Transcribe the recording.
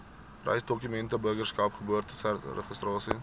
reisdokumente burgerskap geboorteregistrasie